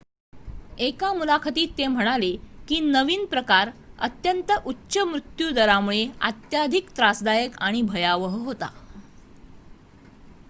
"एका मुलाखतीत ते म्हणाले की नवीन प्रकार "अत्यंत उच्च मृत्यू दरामुळे अत्याधिक त्रासदायक आणि भयावह" होता.